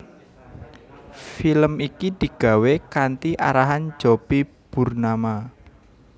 Film iki digawé kanthi arahan Jopie Burnama